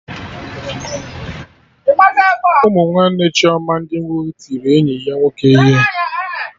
Ụmụ nwanne Chioma ndị nwoke tiri enyi ya nwoke ihe